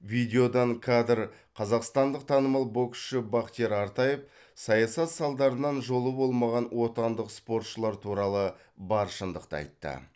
видеодан кадр қазақстандық танымал боксшы бахтияр артаев саясат салдарынан жолы болмаған отандық спортшылар туралы бар шындықты айтты